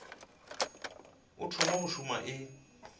o thoma go šoma e